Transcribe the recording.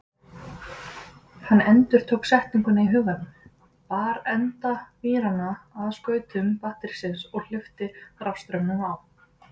Hann endurtók setninguna í huganum, bar enda víranna að skautum batterísins og hleypti rafstraumnum á.